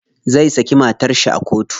Zai saki matar shi a kotu.